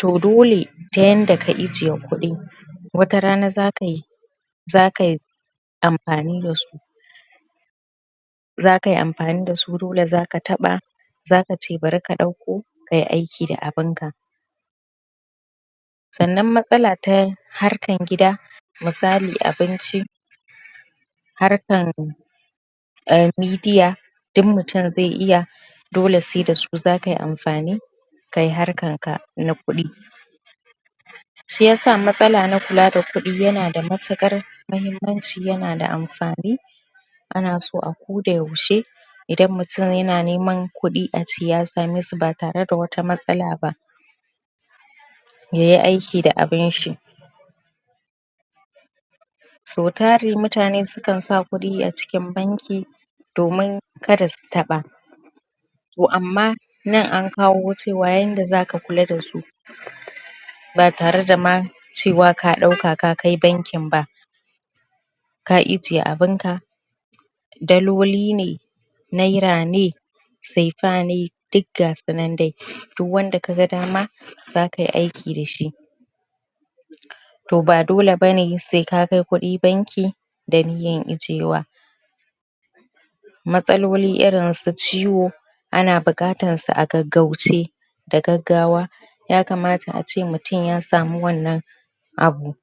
toh dole ta yanda ka ajiye kudi watarana zaka yi zakayi amfani dasu zakayi amfani dasu dole zaka taba zakace bari ka dauko kayi aiki da abun ka sannan matsala ta harkan gida misali abinci harkan Media duk mutunm zai iya dole sai dasu zakayi amfani kayi harkan ka na kuɗi shiyasa matsala na kula da kuɗi yana da matuƙar mahimmanci yana da amfani ana so akoda yaushe idan mutum yana neman kuɗi ace ya same su ba tare da wani matsala ba yayi aiki da abun shi so tari mutane sukan sa kudi a cikin banki domin kada su taɓa toh amma nan an kawo cewa yanda zaka kula dasu ba tare da ma cewa ka dauka ka kai banki ba ka ajiye abunka daloli ne naira ne sefa ne duk gasu nan dai duk wanda kaga dama zakayi aiki da shi toh ba dole bane sai ka kai kuɗi banki daniyyan ijiyewa matsaloli irin su ciwo ana bukatan su a gaggauce da gaggawa yakamata ace mutum ya samu wannan abu